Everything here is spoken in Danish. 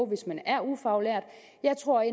hvis man er ufaglært jeg tror